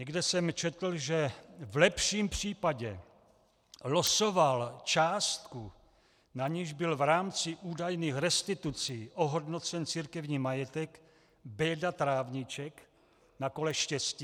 Někde jsem četl, že v lepším případě losoval částku, na niž byl v rámci údajných restitucí ohodnocen církevní majetek, Béďa Trávníček na kole štěstí.